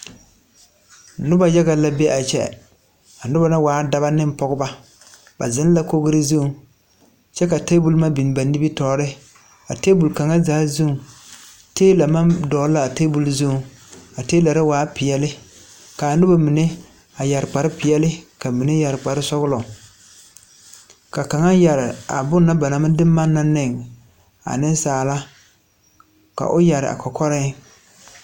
Noba yaga la be a kyɛ. Dɔbɔ ane pɔgbɔ ba la. Ba ziŋ la kogro zuiŋ kyɛ ka tabol biŋ ba nimitɔɔreŋ. A tabol kaŋ zaa zuiŋ tiila maŋ dɔgle la o zu a waa pilaa. A noba mine yɛre kparepeɛle kyɛ ka mine meŋ yɛre kparesɔglɔ. Kaŋ yɛre la a bon na ba na maŋ de manna ne niŋsaalba.O kɔkɔre pʋɔ la ka a bonne yɛre.